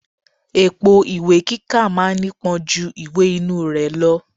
Èpo ìwé kíkà ma ń nípọn ju ìwè inú rẹ̀ lọ.